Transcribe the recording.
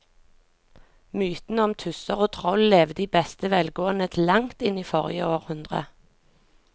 Mytene om tusser og troll levde i beste velgående til langt inn i forrige århundre.